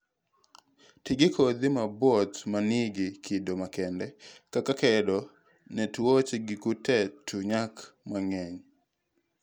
Tii gi kodhi mopuodhi manigi kido makende kaka kedo ne tuoche gi kute to nyak mang'eny